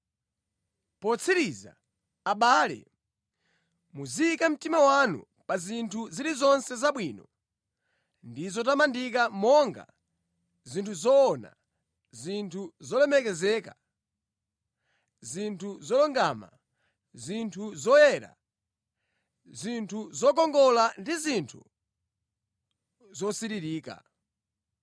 Potsiriza, abale, muziyika mtima wanu pa zinthu zilizonse zabwino ndi zotamandika monga, zinthu zoona, zinthu zolemekezeka, zinthu zolungama, zinthu zoyera, zinthu zokongola ndi zinthu zosiririka.